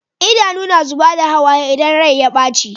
Idanu na zubar da hawaye idan Rai ya baci